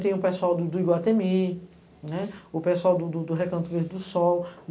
Tem o pessoal do Iguatemi, o pessoal do, do Recanto Verde do Sol.